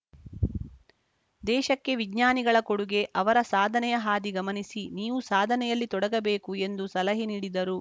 ದೇಶಕ್ಕೆ ವಿಜ್ಞಾನಿಗಳ ಕೊಡುಗೆ ಅವರ ಸಾಧನೆಯ ಹಾದಿ ಗಮನಿಸಿ ನೀವು ಸಾಧನೆಯಲ್ಲಿ ತೊಡಗಬೇಕು ಎಂದು ಸಲಹೆ ನೀಡಿದರು